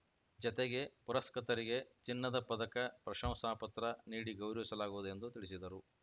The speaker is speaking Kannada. ಜತೆಗೆ ಪುರಸ್ಕೃತರಿಗೆ ಚಿನ್ನದ ಪದಕ ಪ್ರಶಂಸಾ ಪತ್ರ ನೀಡಿ ಗೌರವಿಸಲಾಗುವುದು ಎಂದು ತಿಳಿಸಿದರು